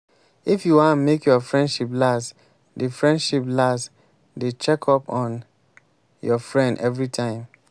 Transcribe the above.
if you wan make your friendship last dey friendship last dey check up on your friend everytime.